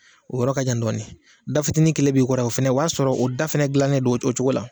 O yɔrɔ ka jan dɔɔni, da fitini kelen b'i kɔrɔ o fɛnɛ o b'a sɔrɔ o da fɛnɛ dilanen don o o cogo la.